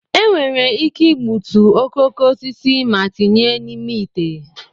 enwere ike igbutu okooko osisi ma tinye n'ime ite